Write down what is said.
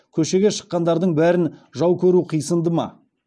көшеге шыққандардың бәрін жау көру қисынды ма